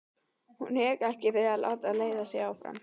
Hún hikaði ekki við að láta leiða sig áfram.